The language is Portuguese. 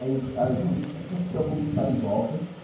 Aí o cara falou, não se preocupe que ele está no jockey.